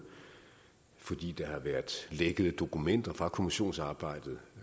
fordi der har været lækket dokumenter fra kommissionsarbejdet